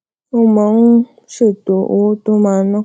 ó máa um ń ṣètò owó tó máa ná